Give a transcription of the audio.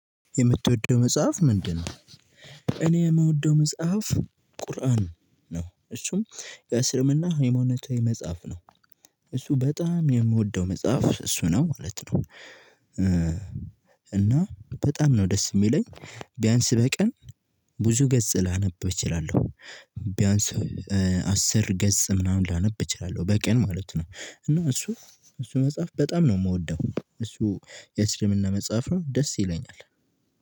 የምትወደው መጽሐፍ ምንድነው? እኔ የምወደው መጽሐፍ ቁርአን ነው እሱም በእስልምና ሃይማኖታዊ መጽሐፍ ነው እሱ በጣም የምወደው መጽሐፍ እሱ ነው ማለት ነው። እና በጣም ነው ደስ የሚለኝ ቢያንስ በቀን ብዙ ገጽ ላነብ እችላለሁ። ቢያንስ አስር ገጽ ምናምን ላነብ እችላለሁ በቀን ማለት ነው። እና እሱ እሱ መጽሐፍ በጣም ነው የምወደው እሱ የእስልምና መጽሐፍ ነው ደስ ይለኛል።